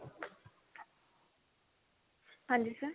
ਹਾਂਜੀ sir